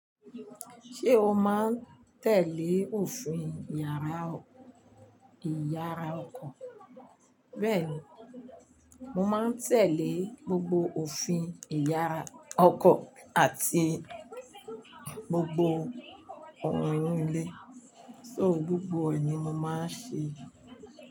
Ṣé o máa ń tẹ̀lé òfin iyara Ìyàrá ọkọ? Bẹ́ẹ̀ni, mo máa ń tẹ̀lé gbogbo òfin Ìyàrá ọkọ àti gbogbo òrùn inu ilé, só gbogbo ẹ̀ ni mo máa ń ṣe.